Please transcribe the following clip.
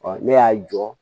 ne y'a jɔ